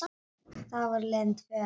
Þá voru liðin tvö ár.